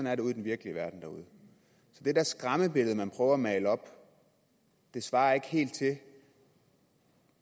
er det ude i den virkelige verden så det der skræmmebillede man prøver at male svarer ikke helt til hvad